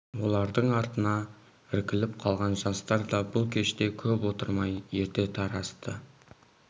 олардың артына іркіліп қалған жастар да бұл кеште көп отырмай ерте тарасты